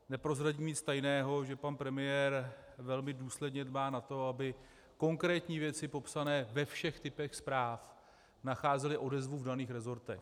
Neprozradím nic tajného, že pan premiér velmi důsledně dbá na to, aby konkrétní věci popsané ve všech typech zpráv nacházely odezvu v daných resortech.